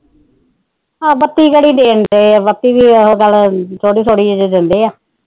ਬੱਤੀ ਕਿਹੜਾ ਦੇਣਡੇ ਬੱਕੀ ਦੀ ਉਹ ਗੱਲ ਥੋੜੀ ਥੋੜੀ ਦਿੰਦੇ ਆਂ